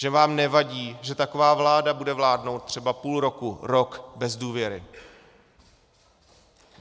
Že vám nevadí, že taková vláda bude vládnout třeba půl roku, rok bez důvěry.